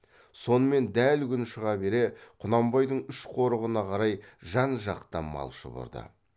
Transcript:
сонымен дәл күн шыға бере құнанбайдың үш қорығына қарай жан жақтан мал шұбырды